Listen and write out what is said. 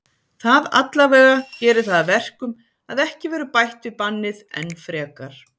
Það allavega gerir það að verkum að ekki verður bætt við bannið enn frekar.